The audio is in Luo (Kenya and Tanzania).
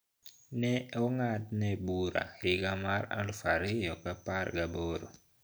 Ne ong`adne bura higa mar aluf ariyo ga apar gaboro